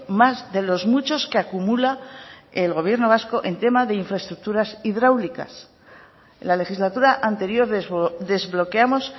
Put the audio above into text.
más de los muchos que acumula el gobierno vasco en tema de infraestructuras hidráulicas en la legislatura anterior desbloqueamos